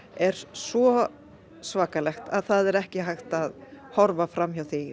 er svo svakalegt að það er ekki hægt að horfa fram hjá því